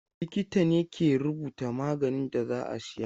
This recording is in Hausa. Likita ne ke rubuta maganin da za a siya.